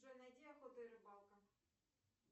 джой найди охота и рыбалка